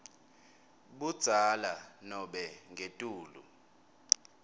budzala nobe ngetulu